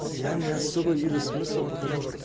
я не особо вижу смысла потому что